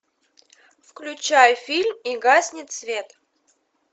включай фильм и гаснет свет